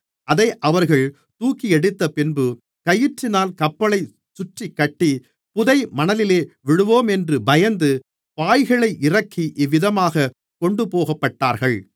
அதை அவர்கள் தூக்கியெடுத்தப்பின்பு கயிற்றினால் கப்பலைச் சுற்றிக் கட்டி புதை மணலிலே விழுவோமென்று பயந்து பாய்களை இறக்கி இவ்விதமாகக் கொண்டுபோகப்பட்டார்கள்